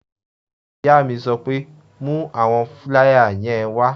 Ìyá mi sọ pé "mú àwọn fúláyà yẹn wá!"